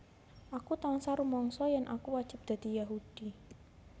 Aku tansah rumangsa yen aku wajib dadi Yahudi